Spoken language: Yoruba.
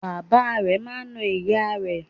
Bàbá rẹ̀ máa n na ìyá rẹ̀